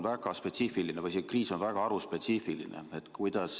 See kriis on väga haruspetsiifiline.